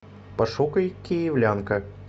пошукай киевлянка